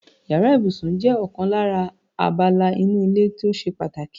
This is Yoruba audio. Yàrá ìbùsùn jé̩ ò̩kan lára abala inú ilé tó s̩e pàtàkì.